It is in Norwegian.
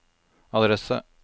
adresse